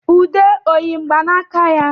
Ude ọ yi mgbanaka ya?